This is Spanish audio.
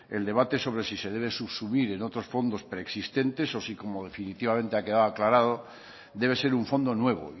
el debate sobre si se debe subsumir en otros fondos preexistentes o si como definitivamente ha quedado aclarado debe ser un fondo nuevo